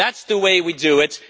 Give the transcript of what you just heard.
That is the way we do it.